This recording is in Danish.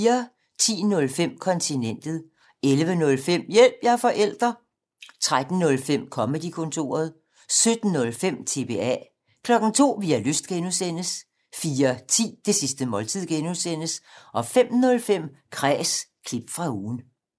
10:05: Kontinentet 11:05: Hjælp – jeg er forælder! 13:05: Comedy-kontoret 17:05: TBA 02:00: Vi har lyst (G) 04:10: Det sidste måltid (G) 05:05: Kræs – klip fra ugen